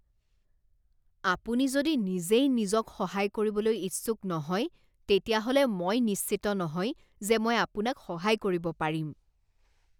আপুনি যদি নিজেই নিজক সহায় কৰিবলৈ ইচ্ছুক নহয় তেতিয়াহ'লে মই নিশ্চিত নহয় যে মই আপোনাক সহায় কৰিব পাৰিম।